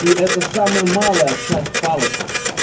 и это самая малая часть палочек